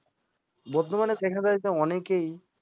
বর্তমানে দেখা যায় অনেকেই